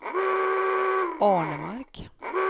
Arnemark